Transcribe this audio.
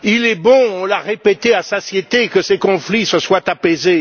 Il est bon on l'a répété à satiété que ces conflits se soient apaisés.